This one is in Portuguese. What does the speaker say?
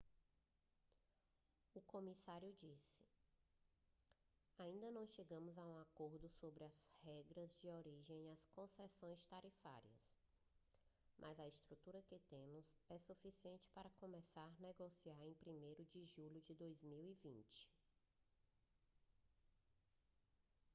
o comissário disse ainda não chegamos a um acordo sobre as regras de origem e as concessões tarifárias mas a estrutura que temos é suficiente para começar a negociar em 1º de julho de 2020